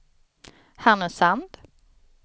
Härnösand